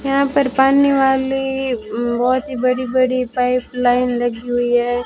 यहां पर पानी वाले बहोत ही बड़ी बड़ी पाइपलाइन लगी हुई है।